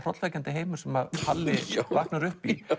hrollvekjandi heimur sem Palli vaknar upp í